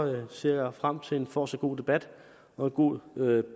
ser jeg frem til en fortsat god debat og en god